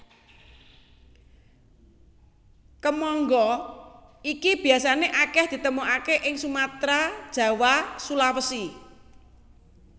Kemangga iki biasané akèh ditemokaké ing Sumatra Jawa Sulawesi